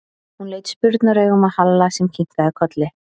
Hún leit spurnaraugum á Halla sem kinkaði kolli.